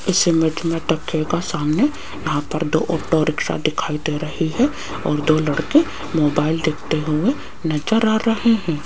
इस इमेज में देखियेगा सामने यहां पर दो ऑटो रिक्शा दिखाई दे रही है और दो लड़के मोबाइल देखते हुए नज़र आ रहे हैं।